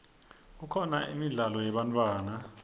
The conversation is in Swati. kukhona imidlalo yebantfwana